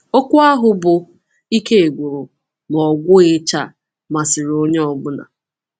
Okwu ahụ bụ “Ike Gwụrụ, Ma Ọ Gwụghịcha” masịrị onye ọ bụla.